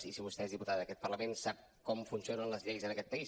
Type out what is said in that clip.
i si vostè és diputada d’aquest parlament sap com funcionen les lleis en aquest país